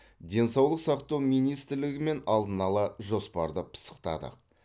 денсаулық сақтау министрлігімен алдын ала жоспарды пысықтадық